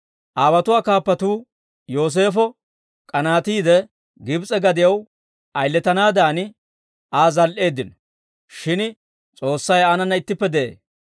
«Aawotuwaa kaappatuu Yooseefo k'anaatiide, Gibs'e gadiyaw ayiletanaadan, Aa zal"eeddino; shin S'oossay aanana ittippe de'ee.